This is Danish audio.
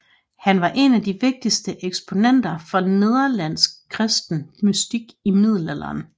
Han var en af de vigtigste eksponenter for nederlandsk kristen mystik i middelalderen